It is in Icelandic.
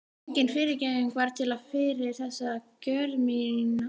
Engin fyrirgefning var til fyrir þessa gjörð mína.